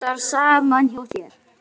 Vantar samt í það vitið.